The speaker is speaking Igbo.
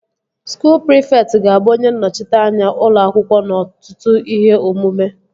Skuul prịfekt ga-abụ onye nnọchiteanya ụlọ akwụkwọ n'ọtụtụ ihe omume